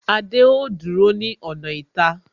Adé ó dúró ní ọ̀nà ìta